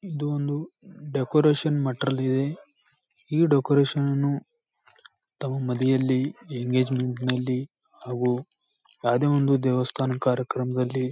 ಇದೊಂದು decoration material ಇದೆ ಈ ಡೆಕೋರೇಷನ್ ನನ್ನು ತಮ್ಮ ಮದುವೆಯಲ್ಲಿ ಎಂಗೇಜ್ಮೆಂಟ್ ಅಲ್ಲಿ ಹಾಗು ಯಾವುದೇ ಒಂದು ದೇವಸ್ಥಾನ ಕಾರ್ಯಕ್ರಮದಲ್ಲಿ--